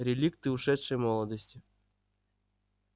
реликты ушедшей молодости